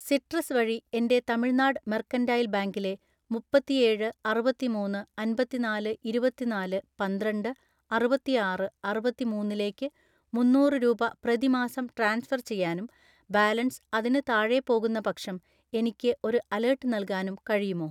Citrus വഴി എൻ്റെ Tamil Nadu mercantile ബാങ്കിലെ മുപ്പതിനേഴ് അറുപത്തിമൂന്ന് അൻപതിനാല് ഇരുപത്തിനാല് പന്ത്രണ്ട് അറുപത്തിആറ് അറുപത്തിമൂന്നിലേക്ക് മുന്നൂറ് രൂപ പ്രതിമാസം ട്രാൻസ്ഫർ ചെയ്യാനും ബാലൻസ് അതിന് താഴെ പോകുന്നപക്ഷം എനിക്ക് ഒരു അലേർട്ട് നൽകാനും കഴിയുമോ?